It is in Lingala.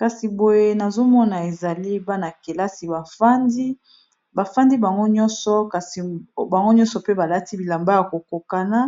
kasi boye nazomona ezali bana-kelasi aandibafandi bango nyonso kasi bango nyonso pe balati bilamba ya kokokana